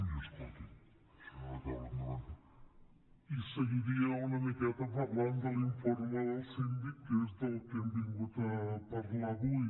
i seguiria una miqueta parlant de l’informe del síndic que és del que hem vingut a parlar avui